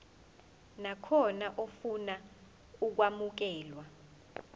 nakhona ofuna ukwamukelwa